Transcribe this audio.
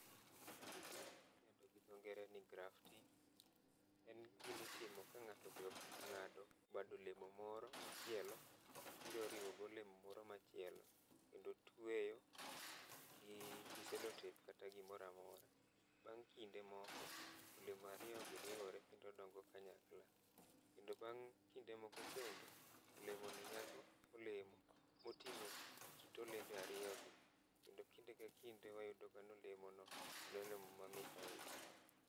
Ng'ani timo gima idendo gi dho ngere ni grafting. En gima itimo ka ng'ato odhi ong'ado bad olemo moro machielo, obiro oriwo gi olemo moro machielo, kendo otueyo gi gi cellotape kata gimoramora. Bang' kinde moko, olemo ariyo gi riwore kendo dongo kanyakla. Kendo bang' kinde moko kendo, olemo ni nyago olemo moting'o kit olembe ariyo gi, kendo kinde ka kinde wayudo ga ni olemo ni en olemo mamit ahinya.